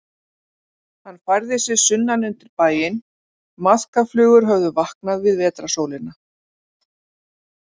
Hann færði sig sunnan undir bæinn, maðkaflugur höfðu vaknað við vetrarsólina.